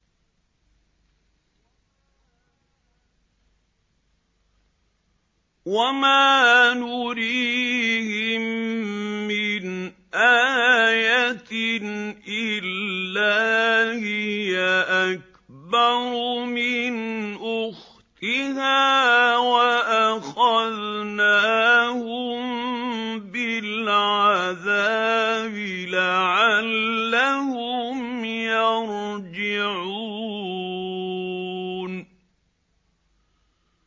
وَمَا نُرِيهِم مِّنْ آيَةٍ إِلَّا هِيَ أَكْبَرُ مِنْ أُخْتِهَا ۖ وَأَخَذْنَاهُم بِالْعَذَابِ لَعَلَّهُمْ يَرْجِعُونَ